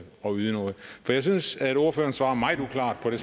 yde noget jeg synes at ordføreren svarer meget uklart på det